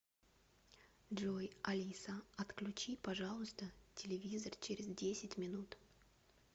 джой алиса отключи пожалуйста телевизор через десять минут